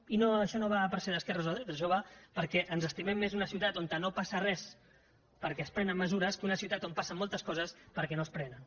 i això no va per ser d’esquerres o de dretes això va perquè ens estimem més una ciutat on no passa res perquè es prenen mesures que una ciutat on passen moltes coses perquè no se’n prenen